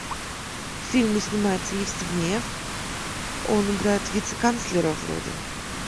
в фильме снимается евстигнеев он играет вице канцлера вроде